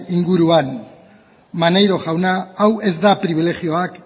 inguruan maneiro jauna hau ez da pribilejioak